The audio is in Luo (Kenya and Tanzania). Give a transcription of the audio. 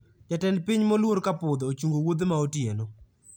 jatend piny moluor kapudho ochungo wuodhe maotieno